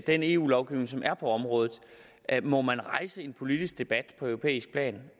den eu lovgivning som er på området må man rejse en politisk debat på europæisk plan